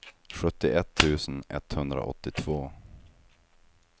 sjuttioett tusen etthundraåttiotvå